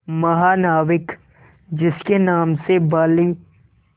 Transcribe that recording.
महानाविक जिसके नाम से बाली